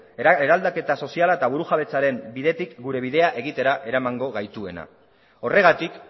eraldaketa soziala eta burujabetzaren bidetik gure bidea egitera eramango gaituena horregatik